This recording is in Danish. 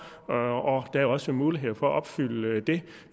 der er også mulighed for at opfylde det